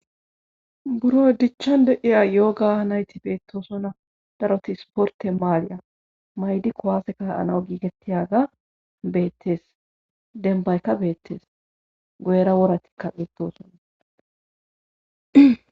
Buro dichchan de7ya yooga nayti beettoosona daroti sporte maaliya maydi kowaase ka anao giigettiyaga beettes denbaykka beettees goyera woratikka beettoosona.